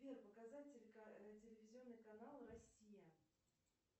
сбер показать телевизионный канал россия